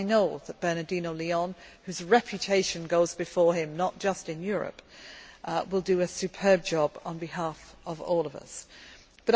I know that Bernardino León whose reputation goes before him, not just in Europe will do a superb job on behalf of us